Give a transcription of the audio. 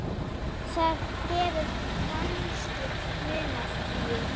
Það hefur kannski munað því.